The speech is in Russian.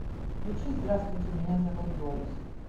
включи здравствуйте меня зовут дорис